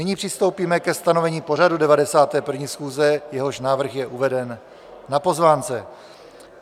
Nyní přistoupíme ke stanovení pořadu 91. schůze, jehož návrh je uveden na pozvánce.